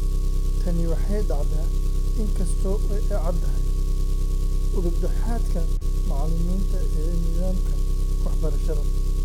Tani waxay dhacdaa in kasta oo ay caddahay udub dhexaadka macallimiinta ee nidaamka waxbarashada.